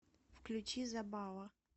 включи забава